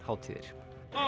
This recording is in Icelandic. hátíðir